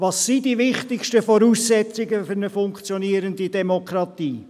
Welches sind die wichtigsten Voraussetzungen für eine funktionierende Demokratie?